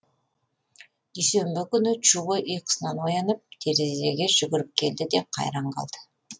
дүйсенбі күні чубо ұйқысынан оянып терезеге жүгіріп келді де қайран қалды